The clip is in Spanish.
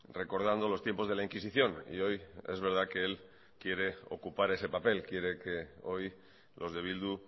recordando los tiempos de la inquisición y hoy es verdad que él quiere ocupar ese papel quiere que hoy los de bildu